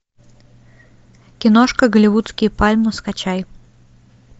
киношка голливудские пальмы скачай